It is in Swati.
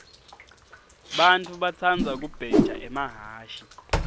bantfu batsandza kubheja emahhashi